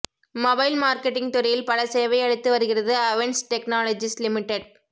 mobile marketing துறையில் பல சேவை அளித்து வருகிறது அவேன்ஸ் டெக்னாலஜிஸ் லிமிடெட்